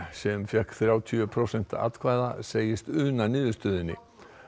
sem fékk þrjátíu prósent atkvæðanna segist una niðurstöðunni